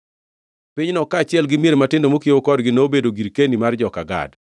Pinyno kaachiel gi mier matindo mokiewo kodgi nobedo girkeni mar joka Gad.